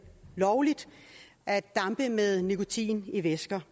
lovligt at dampe med nikotin i væsker